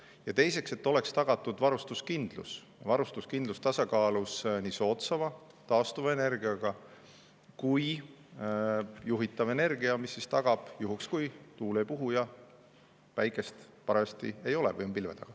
Ja teiseks, et oleks tagatud varustuskindlus, mille puhul oleks tasakaalus soodsam taastuv energia ja juhitav energia, mis tagab juhul, kui tuul ei puhu ja päikest parajasti ei ole, on pilve taga.